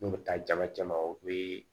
N'u bɛ taa jama cɛ ma o bɛ